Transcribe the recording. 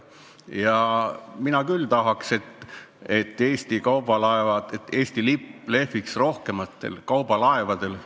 Ja mina küll tahaks, et Eesti lipp lehviks rohkematel kaubalaevadel.